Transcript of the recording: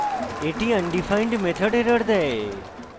এটি undefined method error দেয়